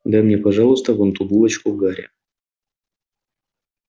дай мне пожалуйста вон ту булочку гарри